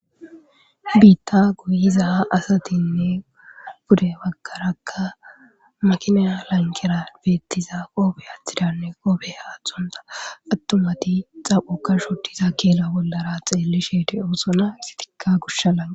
Bitta goyiza asatinne pude bagara makina lanqera bettiza asatine qope athonta asati dettes attumati xaphoka shodiza kella bollara xellishe de'osona izzetika gosha lanqera